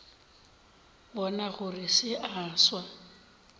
bona gore se a swa